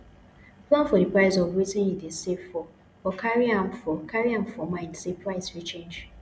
plan for di price of wetin you dey save for but carry am for carry am for mind sey price fit change